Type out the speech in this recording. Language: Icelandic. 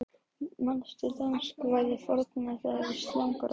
Manstu danskvæðið forna, það er slagarann